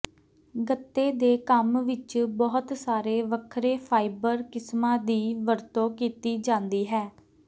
ਗੱਤੇ ਦੇ ਕੰਮ ਵਿਚ ਬਹੁਤ ਸਾਰੇ ਵੱਖਰੇ ਫਾਈਬਰ ਕਿਸਮਾਂ ਦੀ ਵਰਤੋਂ ਕੀਤੀ ਜਾਂਦੀ ਹੈ